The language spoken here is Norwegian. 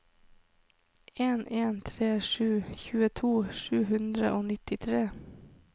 en en tre sju tjueto sju hundre og nittitre